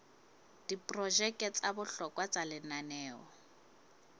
diprojeke tsa bohlokwa tsa lenaneo